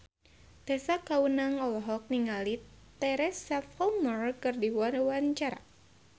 Tessa Kaunang olohok ningali Teresa Palmer keur diwawancara